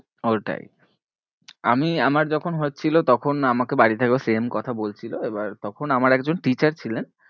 ওইটাই আমি আমার যখন হচ্ছিলো তখন আমাকে বাড়ি থেকেও same কথা বলছিলো এবার তখন আমার একজন teacher ছিলেন